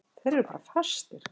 Þeir eru bara fastir.